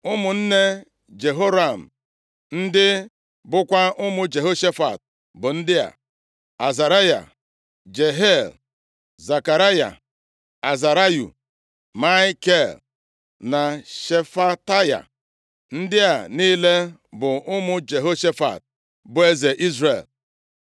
Ụmụnne Jehoram, ndị bụkwa ụmụ Jehoshafat bụ ndị a: Azaraya, Jehiel, Zekaraya, Azarayu, Maikel na Shefataya. Ndị a niile bụ ụmụ Jehoshafat, bụ eze Izrel.